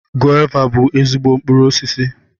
Gova bú ezigbo mkpụrụ osisi